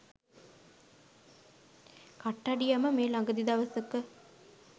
කට්ටඩියම මේ ළගදි දවසක